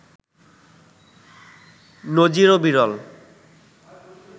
নজিরও বিরল